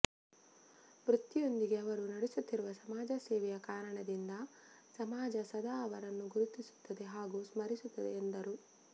ವೃತ್ತಿಯೊಂದಿಗೆ ಅವರು ನಡೆಸುತ್ತಿರುವ ಸಮಾಜ ಸೇವೆಯ ಕಾರಣದಿಂದ ಸಮಾಜ ಸದಾ ಅವರನ್ನು ಗುರುತಿಸುತ್ತದೆ ಹಾಗೂ ಸ್ಮರಿಸುತ್ತದೆ ಎಂದರು